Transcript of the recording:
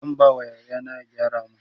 zan ba wa yaya na ya gyara min